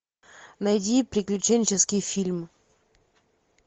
найди приключенческий фильм